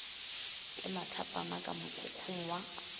ke mathapama ka mokhukhung wa